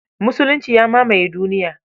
Musulunci ya mamaye duniya